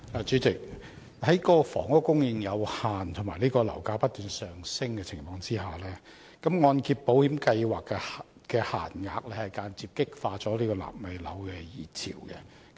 主席，在房屋供應有限及樓價不斷上升的情況下，按保計劃的樓價上限間接激化了"納米樓"的熱潮。